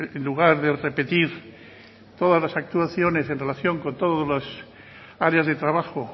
en lugar de repetir todas las actuaciones en relación con todos las áreas de trabajo